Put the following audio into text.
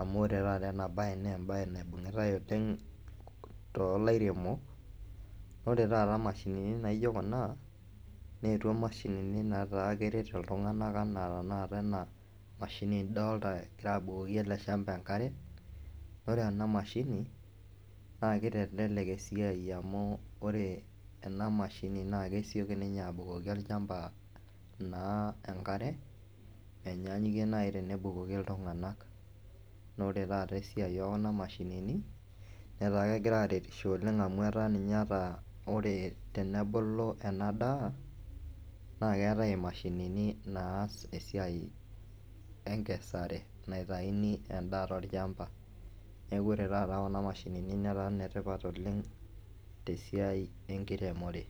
amu ore taata enabaye naa embaye naibungitai oleng' toolairemok ore taata imashini na ijo kuna neetuo imashinini nataa keret iltung'anak enaa tanakata ena mashini nidolta egira abukoki ele shmaba enkare, ore ena mashini naa kitelelek esiai amu ore ena mashini naa kesioki ninye abukoki olchamba naa enkare menyanyukie naai tenebukoki iltung'anak naa ore taata esiai ekuna mashinini netaa kegira aaretisho oleng' amu etaa ninye ata ore tenebulu ena daa naa keetai imashinini naas esiai enkesare naitayuni endaa tolchamba neeku ore taata kuna mashinini netaa inetipat oleng' tesiai enkiremore.